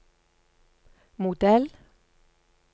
modell